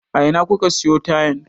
A ina kuka siyo tayan?